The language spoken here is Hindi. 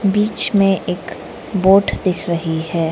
बीच में एक बोट दिख रही है।